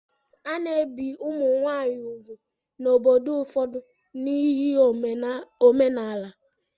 A na-ebi ụmụ nwaanyị úgwù n'obodo ụfọdụ n'ihi omenala.